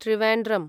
Trivandrum